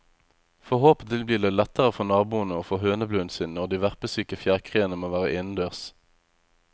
Forhåpentlig blir det lettere for naboen å få høneblunden sin når de verpesyke fjærkreene må være innendørs.